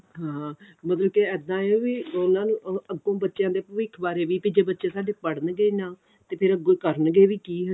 ਹਾਂ ਮਤਲਬ ਕੀ ਇੱਦਾਂ ਹੈ ਵੀ ਉਹਨਾ ਨੂੰ ਅੱਗੋਂ ਬੱਚਿਆਂ ਦੇ ਭਵਿੱਖ ਬਾਰੇ ਵੀ ਜੇ ਕੀ ਬੱਚੇ ਸਾਡੇ ਪੜ੍ਹਨ ਹੀ ਨਾ ਤੇ ਫੇਰ ਅੱਗੋਂ ਕਰਨਗੇ ਵੀ ਕੀ